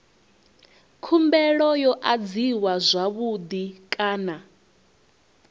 khumbelo yo adziwa zwavhui kana